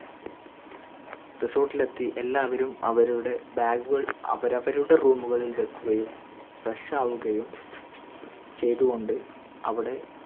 resort ഇൽ എത്തി എല്ലാവരും അവരുടെ bag കൾ അവരവരുടെ room കളിൽ വെക്കുകയും fresh ആവുകയും ച്യ്ത കൊണ്ട് അവിടെ